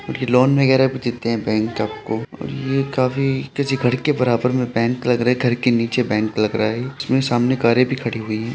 ये लोन वगैरह भी देते हैं बैंक आपको और ये काफी किसी घर के बराबर में बैंक लग रहा है। घर के नीचे बैंक लग रहा है। इसमें सामने कारें भी खड़ी हुई हैं।